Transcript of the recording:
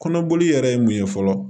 Kɔnɔboli yɛrɛ ye mun ye fɔlɔ